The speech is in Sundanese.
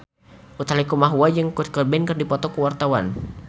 Utha Likumahua jeung Kurt Cobain keur dipoto ku wartawan